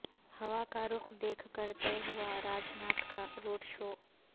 ہوا کا رخ دیکھ کر طے ہوا راج ناتھ کا روڈ شو